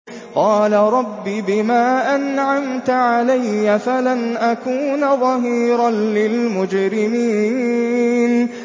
قَالَ رَبِّ بِمَا أَنْعَمْتَ عَلَيَّ فَلَنْ أَكُونَ ظَهِيرًا لِّلْمُجْرِمِينَ